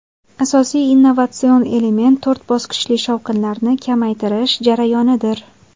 Asosiy innovatsion element to‘rt bosqichli shovqinlarni kamaytirish jarayonidir.